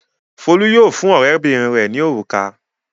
Folú yóò fún ọ̀rẹ́bìnrin rẹ̀ ní òrùka.